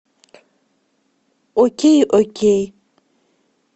окей окей